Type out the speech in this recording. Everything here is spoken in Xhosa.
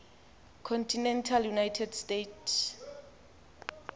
continental united states